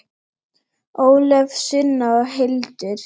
Ólöf, Sunna og Hildur.